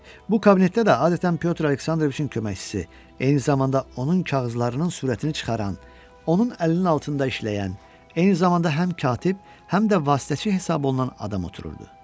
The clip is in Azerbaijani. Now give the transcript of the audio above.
Bu kabinetdə də adətən Pyotr Aleksandroviçin köməkçisi, eyni zamanda onun kağızlarının sürətini çıxaran, onun əlinin altında işləyən, eyni zamanda həm katib, həm də vasitəçi hesab olunan adam otururdu.